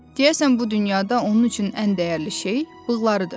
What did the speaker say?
Deyəsən bu dünyada onun üçün ən dəyərli şey bığlarıdır.